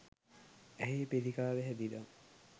ඇහේ පිළිකාව හැදිලා